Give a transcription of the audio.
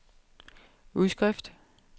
udskrift